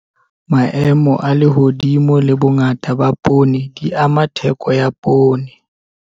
Maemo a lehodimo le bongata ba poone di ama theko ya poone.